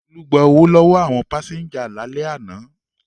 Olú gba owó lọ́wọ́ àwọn pásẹ́ńjà lálẹ́ àná.